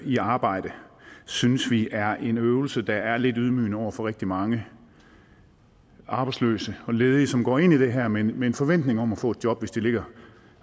i arbejde synes vi er en øvelse der er lidt ydmygende over for rigtig mange arbejdsløse og ledige som går ind i det her med med en forventning om at få et job hvis de